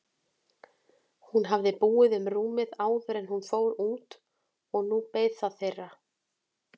Hún hafði búið um rúmið áður en hún fór út og nú beið það þeirra.